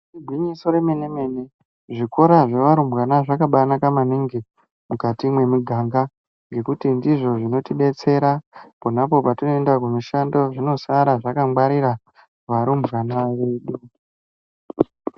Igwinyiso remene-mene, zvikora zvevarumbwana zvakabaanaka maningi mukati mwemiganga. Ngekuti ndizvo zvinotidetsera ponapo petinoenda kumishando. Zvinosara zvakangwarira varumbwana vedu.